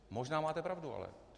Možná máte pravdu ale.